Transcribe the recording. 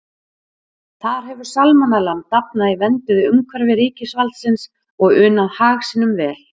Þar hefur salmonellan dafnað í vernduðu umhverfi ríkisvaldsins og unað hag sínum vel.